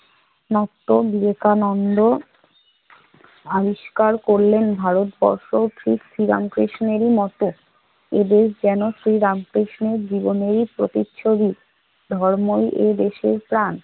নক্ত বিবেকানন্দ আবিষ্কার করলেন ভারতবর্ষ ঠিক শ্রীরাম কৃষ্ণেরই মত। এই দেশ যেন শ্রী রামকৃষ্ণের জীবনেরই প্রতিচ্ছবি। ধর্মই এদেশের প্রাণ।